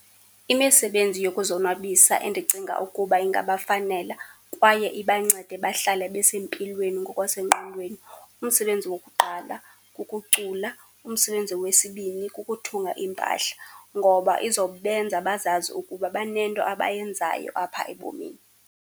Imisebenzi yokuzonwabisa endicinga ukuba ingabafanela kwaye ibancede bahlale besempilweni ngokwasengqondweni, umsebenzi wokuqala kukucula. Umsebenzi wesibini kukuthunga impahla. Ngoba izobenza bazazi ukuba banento abayenzayo apha ebomini.